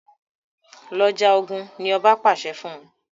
Lọ já ògún! ní oba pàṣẹ fún.